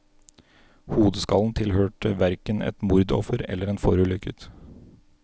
Hodeskallen tilhørte hverken et mordoffer eller en forulykket.